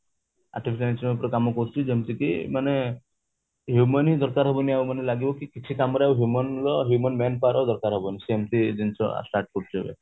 କାମ କରୁଚି ଯେମିତି କି ମାନେ human ହି ଦରକାର ହବନି ଆଉ ମାନେ ଲାଗିବା କି କିଛି କାମ ରେ ଆଉ human ର human man power ର ଦରକାର ହବନି ସେମିତି ଜିନିଷ start କରୁଚି ଏବେ